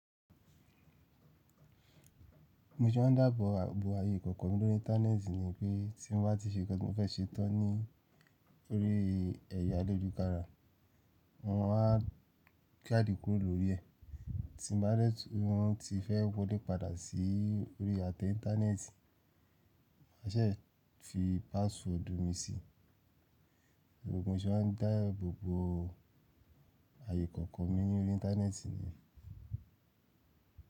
Mo sọ ń dáàbò bo ayé kọ̀ọ̀kan mi lórí íńtánẹ́ẹ̀tì ní pé tí n bá ti ṣe kí n fẹ́ ṣetán ní orí ẹ̀yà lójúkara, wọ́n á kí àdíkùú lórí ẹ̀. Tí mo bá dẹ́tù ranti fẹ́ wọlé padà sí orí ate íńtánẹ́ẹ̀tì, má ṣè é fi pásíwọ́ọ̀dù mi sí. Òògùn ṣe ń dáàbò bo ayé kọ̀ọ̀kan mi lórí íńtánẹ́ẹ̀tì niyen.